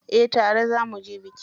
Eh tare za muje biki.